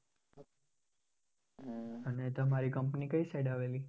અને તમારી company કઈ side આવેલી?